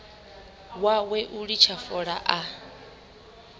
wawe u litsha fola a